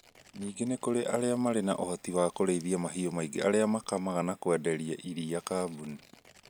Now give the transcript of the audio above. Ningĩ nĩ kũrĩ arĩa marĩ na ũhoti wa kũrĩithia mahiũ maingĩ arĩa makamaga na kwenderia aria kambuni